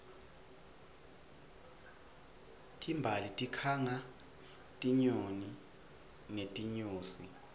timbali tikhanga tinyoni netinyosi